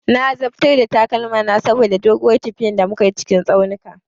Na azabtar da takalmana saboda doguwar tafiya da muka yi a cikin tsaunuka.